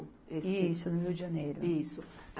Isso, no Rio de Janeiro. Isso.